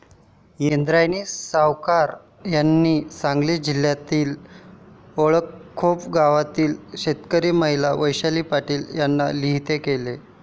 इंद्रायणी सावकार यांनी, सांगली जिल्ह्यातल्या अंकळखोप गावातील शेतकरी महिला वैशाली पाटील यांना लिहिते केले.